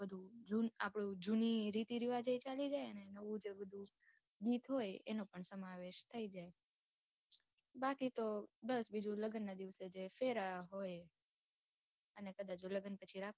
આપડે જુની રીતિરિવાજ એ ચાલી જાય ને નવું જે બધું રીત હોય એનો પણ સમાવેશ થઇ જાય હોય બાકી તો બસ બીજું લગ્નનાં દિવસે જે ફેરા હોય અને કદાચ જો લગ્ન પછી રાખવું હોય